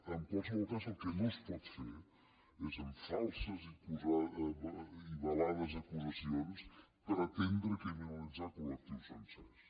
en qualsevol cas el que no es pot fer és amb falses i velades acusacions pretendre criminalitzar colsencers